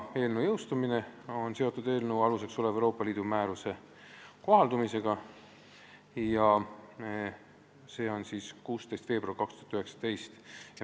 Jõustumine on seotud eelnõu aluseks olev Euroopa Liidu määruse kohaldumisega 16. veebruaril 2019.